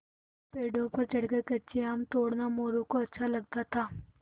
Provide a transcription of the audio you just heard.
पेड़ों पर चढ़कर कच्चे आम तोड़ना मोरू को अच्छा लगता था